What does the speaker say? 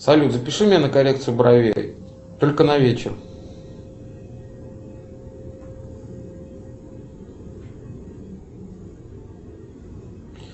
салют запиши меня на коррекцию бровей только на вечер